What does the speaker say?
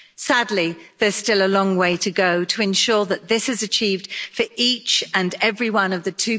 Sadly, there's still a long way to go to ensure that this is achieved for each and every one of the